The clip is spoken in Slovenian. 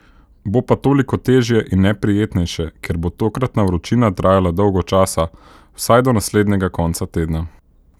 Bo pa toliko težje in neprijetnejše, ker bo tokratna vročina trajala dolgo časa, vsaj do naslednjega konca tedna.